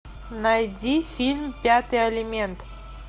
найди фильм пятый элемент